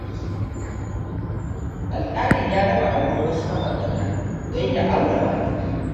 Alƙalin ya raba auren wasu ma'aurata, don ya aure matar.